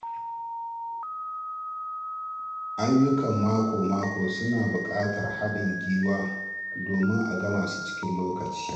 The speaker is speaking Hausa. Ayyukan mako-mako suna buƙatar haɗin gwiwa domin a gama su cikin lokaci.